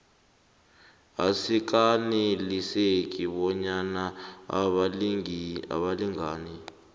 asikaneliseki bonyana abalingani